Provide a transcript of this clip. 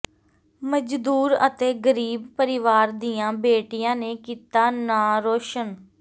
ਮਜ਼ਦੂਰ ਅਤੇ ਗ਼ਰੀਬ ਪਰਿਵਾਰ ਦੀਆਂ ਬੇਟੀਆਂ ਨੇ ਕੀਤਾ ਨਾਂਅ ਰੌਸ਼ਨ